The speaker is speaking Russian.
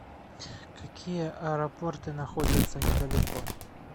какие аэропорты находятся недалеко